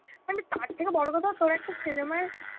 মানে তার থেকেও বড় কথা, তর একটা cinema এ